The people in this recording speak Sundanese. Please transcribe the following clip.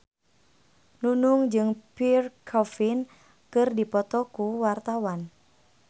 Nunung jeung Pierre Coffin keur dipoto ku wartawan